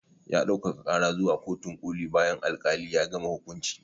Ya ɗaukaka karar zuwa kotun koli bayan al-kalin ya gama hukunci